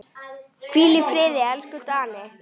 Hvíl í friði, elsku Danni.